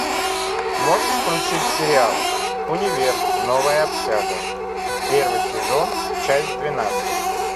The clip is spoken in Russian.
можешь включить сериал универ новая общага первый сезон часть двенадцать